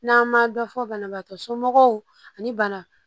N'an ma dɔ fɔ banabagatɔ somɔgɔw ani bana